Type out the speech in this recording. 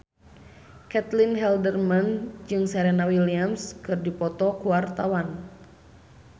Caitlin Halderman jeung Serena Williams keur dipoto ku wartawan